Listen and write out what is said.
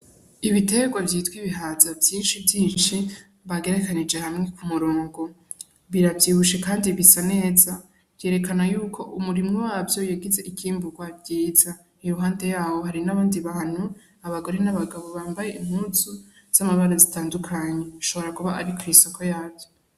Ibiterwa vyitwa ibihaza vyinshi vyinci bagerekanije hamwe ku murongo biravyibushe, kandi bisa neza vyerekana yuko umurimwo wavyo yegize ikimburwa vyiza iruhande yabo hari n'abandi bahanu abagore n'abagabo bambaye imuzu z'amabara zitandukanyi nshobora kuba ari ku'isoko yavyo.